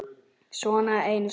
Svona einu sinni.